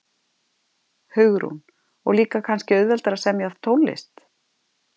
Hugrún: Og líka kannski auðveldara að semja tónlist?